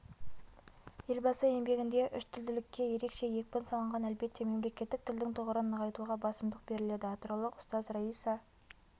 елбасы еңбегінде үштілділікке ерекше екпін салынған әлбетте мемлекеттік тілдің тұғырын нығайтуға басымдық беріледі атыраулық ұстаз раиса